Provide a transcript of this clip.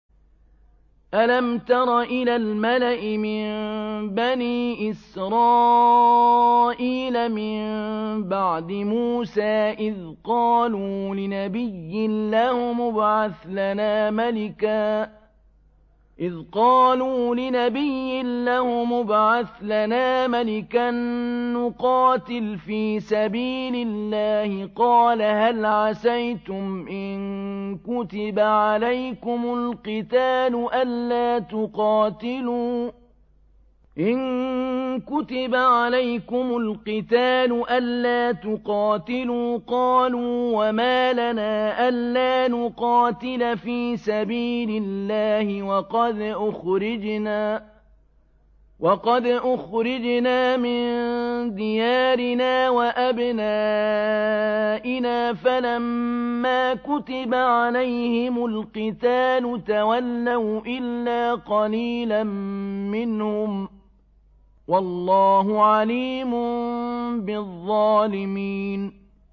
أَلَمْ تَرَ إِلَى الْمَلَإِ مِن بَنِي إِسْرَائِيلَ مِن بَعْدِ مُوسَىٰ إِذْ قَالُوا لِنَبِيٍّ لَّهُمُ ابْعَثْ لَنَا مَلِكًا نُّقَاتِلْ فِي سَبِيلِ اللَّهِ ۖ قَالَ هَلْ عَسَيْتُمْ إِن كُتِبَ عَلَيْكُمُ الْقِتَالُ أَلَّا تُقَاتِلُوا ۖ قَالُوا وَمَا لَنَا أَلَّا نُقَاتِلَ فِي سَبِيلِ اللَّهِ وَقَدْ أُخْرِجْنَا مِن دِيَارِنَا وَأَبْنَائِنَا ۖ فَلَمَّا كُتِبَ عَلَيْهِمُ الْقِتَالُ تَوَلَّوْا إِلَّا قَلِيلًا مِّنْهُمْ ۗ وَاللَّهُ عَلِيمٌ بِالظَّالِمِينَ